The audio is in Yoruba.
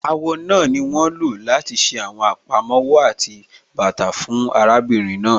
Àwọ̀ náà ni wọ́n lọ láti ṣe àwọn àpamọ́wọ́ àti bàtà fún arábìnrin náà.